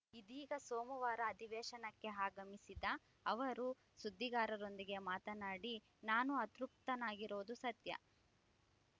ಇದೀಗ ಸೋಮವಾರ ಅಧಿವೇಶನಕ್ಕೆ ಆಗಮಿಸಿದ ಅವರು ಸುದ್ದಿಗಾರರೊಂದಿಗೆ ಮಾತನಾಡಿ ನಾನು ಅತೃಪ್ತನಾಗಿರುವುದು ಸತ್ಯ